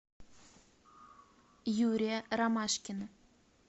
юрия ромашкина